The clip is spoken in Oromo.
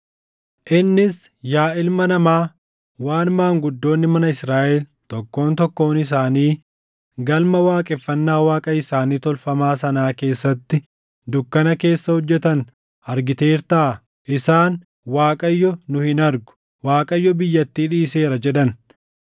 Innis, “Yaa ilma namaa, waan maanguddoonni mana Israaʼel tokkoon tokkoon isaanii galma waaqeffannaa waaqa isaanii tolfamaa sanaa keessatti dukkana keessa hojjetan argiteertaa? Isaan, ‘ Waaqayyo nu hin argu; Waaqayyo biyyattii dhiiseera’ jedhan.”